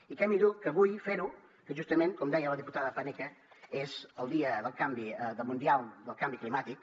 i què millor que avui fer ho que justament com deia la diputada paneque és el dia mundial del canvi climàtic